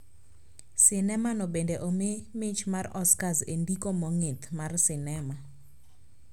Sinema no bende omi mich mar Oscars e ndiko mong`ith mar sinema